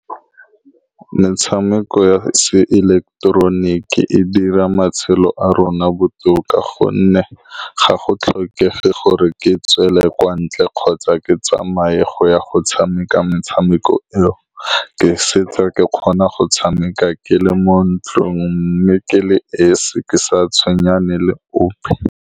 Metshameko ya seileketeroniki e dira matshelo a rona botoka, ka gonne ga go tlhokege gore ke tswele kwa ntle kgotsa ke tsamaye go ya go tshameka. Metshameko eo ke setse ke kgona go e tshameka ke le mo ntlong, mme ke le esi, ke sa tshwenye ope.